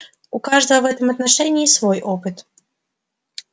у каждого в этом отношении свой опыт